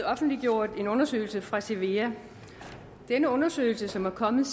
offentliggjort en undersøgelse fra cevea denne undersøgelse som er kommet